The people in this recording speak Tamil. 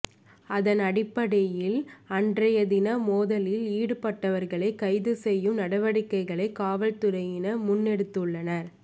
அதன் அடிப்படையில் அன்றைய தினம் மோதலில் ஈடுபட்டவர்களை கைது செய்யும் நடவடிக்கைகளை காவற்துறையினர் முன்னெடுத்துள்ளனர்